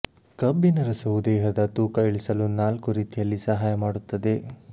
ಕಬ್ಬಿನ ರಸವು ದೇಹದ ತೂಕ ಇಳಿಸಲು ನಾಲ್ಕು ರೀತಿಯಲ್ಲಿ ಸಹಾಯ ಮಾಡುತ್ತದೆ